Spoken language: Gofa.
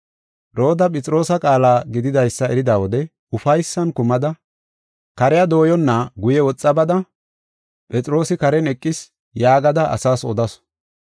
Rooda Phexroosa qaala gididaysa erida wode ufaysan kumada kariya dooyenna guye woxa bada, “Phexroosi karen eqis” yaagada asaas odasu.